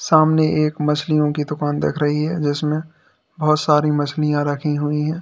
सामने एक मछलियों दुकान दिख रही हैं जिसमें बहुत सारी मछलियां रखी हुई है।